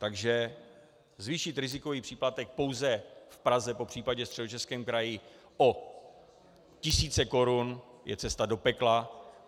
Takže zvýšit rizikový příplatek pouze v Praze, popřípadě Středočeském kraji o tisíce korun, je cesta do pekla.